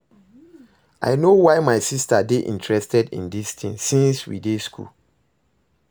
I no know why my sister dey interested in dis thing since we dey school